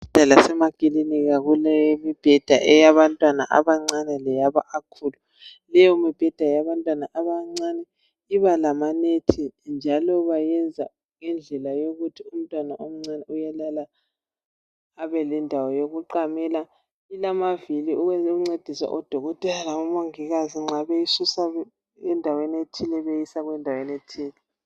Ezibhedlela lemakilinika kulemibheda eyabantwana abancane leyabakhulu. Leyomibheda eyabantwana abancane iba lamanethi njalo bayenza ngendlela yokuthi umntwana omncane uyalala abe lendawo yokuqamela. Ilamavili ukuncedisa odokotela labomongikazi nxa beyisusa endaweni ethile beyisa endaweni ethile.